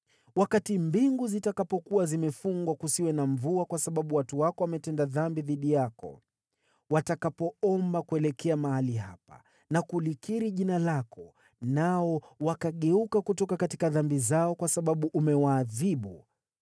“Wakati mbingu zitakapokuwa zimefungwa kusiwe na mvua kwa sababu watu wako wametenda dhambi dhidi yako, watakapoomba kuelekea mahali hapa na kulikiri jina lako nao wakageuka kutoka dhambi zao kwa sababu umewaadhibu,